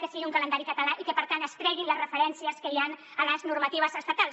que sigui un calendari català i que per tant se’n treguin les referències que hi han a les normatives estatals